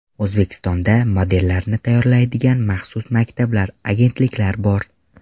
O‘zbekistonda modellarni tayyorladigan maxsus maktablar, agentliklar bor.